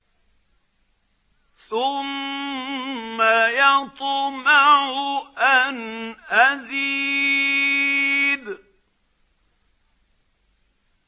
ثُمَّ يَطْمَعُ أَنْ أَزِيدَ